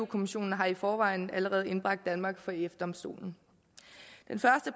kommissionen har i forvejen allerede indbragt danmark for ef domstolen